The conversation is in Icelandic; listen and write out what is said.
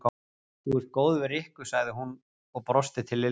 Þú ert góð við Rikku sagði hún og brosti til Lillu.